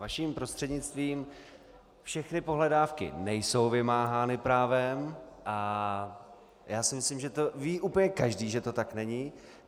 Vaším prostřednictvím - všechny pohledávky nejsou vymáhány právem a já si myslím, že to ví úplně každý, že to tak není.